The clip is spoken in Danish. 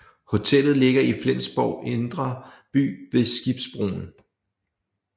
Hotellet ligger i Flensborgs indre by ved Skibbroen